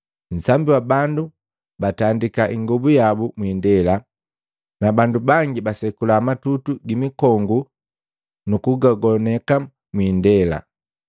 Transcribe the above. Nsambi wa bandu batandika ingobu yabu mwiindela, na bandu bangi basekula matutu gimikongu nukugagoneka mwiindela.